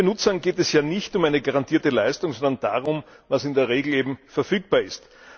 Den meisten Nutzern geht es ja nicht um eine garantierte Leistung, sondern darum, was in der Regel eben verfügbar ist.